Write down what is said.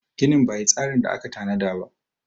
ginin ba yi tsarin da aka tana da ba